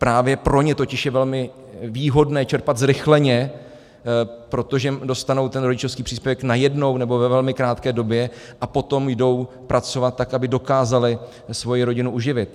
Právě pro ně totiž je velmi výhodné čerpat zrychleně, protože dostanou ten rodičovský příspěvek najednou, nebo ve velmi krátké době, a potom jdou pracovat, tak aby dokázaly svoji rodinu uživit.